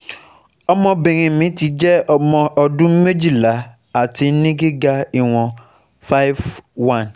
ọmọbìnrin mi ti jẹ ọmọ ọdún méjìlá ati ni giga iwon five one